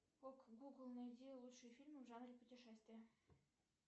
ок гугл найди лучшие фильмы в жанре путешествия